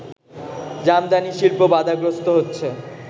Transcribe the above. জামদানি শিল্প বাধাগ্রস্ত হচ্ছে